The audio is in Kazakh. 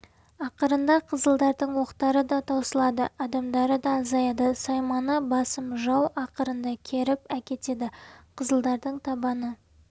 ақырында қызылдардың оқтары да таусылады адамдары да азаяды сайманы басым жау ақырында керіп әкетеді қызылдардың табаны